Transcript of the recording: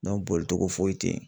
boli cogo foyi te yen